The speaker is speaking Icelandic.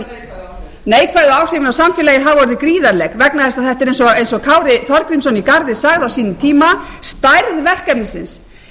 áhrif neikvæðu áhrifin á samfélagið hafa orðið gríðarleg vegna þess að þetta er eins og kári þorgrímsson í garði sagði á sínum tíma stærð verkefnisins